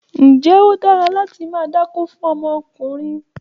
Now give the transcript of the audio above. Ǹjẹ́ ó dára láti máa dákó fún ọmọdékùnrin?